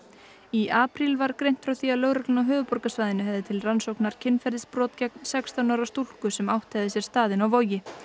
í apríl var greint frá því að lögreglan á höfuðborgarsvæðinu hefði til rannsóknar kynferðisbrot gegn sextán ára stúlku sem átt hefði sér stað inni á Vogi